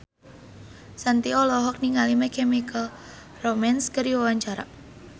Shanti olohok ningali My Chemical Romance keur diwawancara